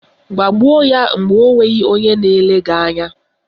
Gbagbuo ya mgbe onweghị onye na-ele gị anya!